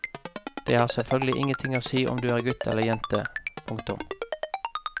Det har selvfølgelig ingenting å si om du er gutt eller jente. punktum